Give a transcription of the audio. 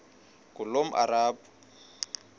ngulomarabu